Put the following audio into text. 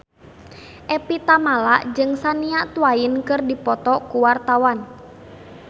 Evie Tamala jeung Shania Twain keur dipoto ku wartawan